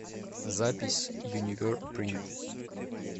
запись юниверпринт